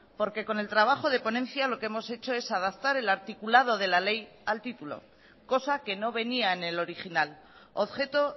porque con el trabajo de ponencia lo que hemos hecho es adaptar el articulado de la ley al título cosa que no venía en el original objeto